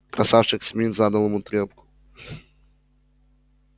красавчик смит задал ему трёпку